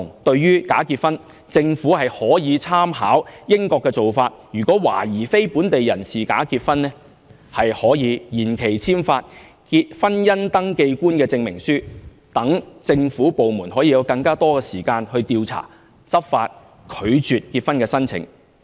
對於假結婚，政府可以參考英國的做法，如果懷疑非本地人士假結婚，可延期簽發"婚姻登記官證明書"，讓政府部門有更多時間進行調查、執法、拒絕結婚申請。